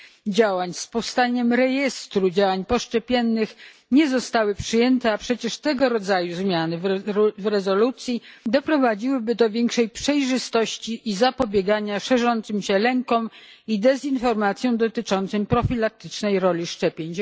działań i utworzenia rejestru działań poszczepiennych, nie zostały przyjęte, a przecież tego rodzaju zmiany w rezolucji doprowadziłyby do większej przejrzystości i zapobiegania szerzącym się lękom i dezinformacji dotyczącej profilaktycznej roli szczepień.